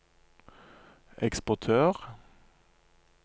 eksportør